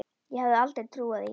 Ég hefði aldrei trúað því.